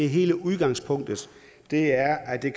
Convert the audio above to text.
hele udgangspunktet er at det